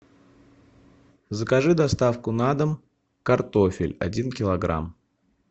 закажи доставку на дом картофель один килограмм